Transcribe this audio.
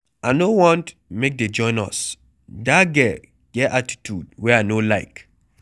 I no want make dey join us, dat girl get attitude wey I no like.